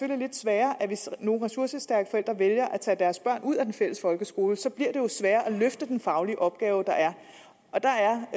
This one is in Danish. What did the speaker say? det lidt sværere hvis nogle ressourcestærke forældre vælger at tage deres børn ud af den fælles folkeskole for så bliver det jo sværere at løfte den faglige opgave der er og der er